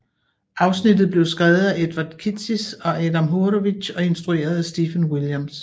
Afsnittet blev skrevet af Edward Kitsis og Adam Horowitz og instrueret af Stephen Williams